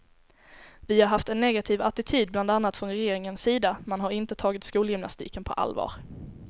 Vi har haft en negativ attityd bland annat från regeringens sida, man har inte tagit skolgymnastiken på allvar.